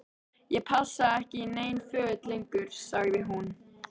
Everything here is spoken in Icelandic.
Ég passa ekki í nein föt lengur- sagði hún.